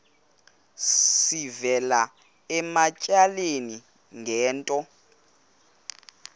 sivela ematyaleni ngento